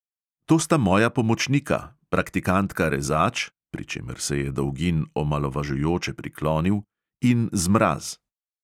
"To sta moja pomočnika, praktikanta rezač," pri čemer se je dolgin omalovažujoče priklonil, "in zmraz."